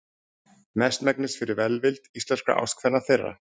Mestmegnis fyrir velvild íslenskra ástkvenna þeirra.